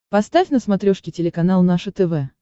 поставь на смотрешке телеканал наше тв